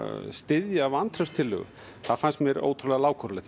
styðja vantrauststillögu það finnst mér ótrúlega lágkúrulegt